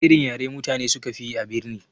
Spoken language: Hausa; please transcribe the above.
Wana irin yare mutane sukafi yi a birni?